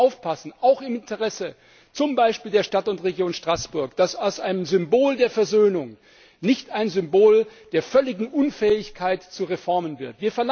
Wir müssen aufpassen, auch z. B. im Interesse der Stadt und Region Straßburg, dass aus einem Symbol der Versöhnung nicht ein Symbol der völligen Unfähigkeit zur Reformen wird.